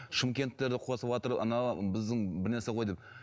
шымкентерді қосыватыр анау біздің бір нәрсе ғой деп